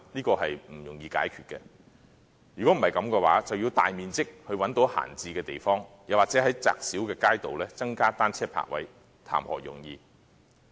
這是不容易解決的，否則便要找到大面積的閒置地方，或在窄小的街道上增加單車泊位，談何容易？